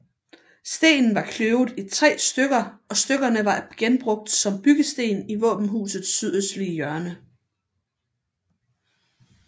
Stenen var kløvet i tre stykker og stykkerne var genbrugt som byggesten i våbenhusets sydøstlige hjørne